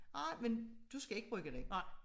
Nej men du skal ikke bruge den